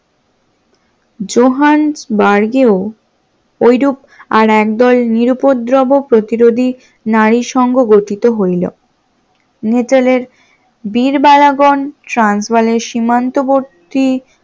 জোহান্সবার্গেও ওইরুপ আর একদল নিরুউপদ্রব প্রতিরোধী নারী নারী সংঘ গঠিত হইল নিটলের বীরবালাগণ ট্রান্সবালের সীমান্তবর্তী